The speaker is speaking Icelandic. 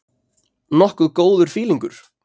Nokkuð góður fílingur.